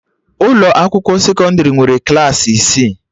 Ụlọ akwụkwọ sekọndrị nwere Klassị isi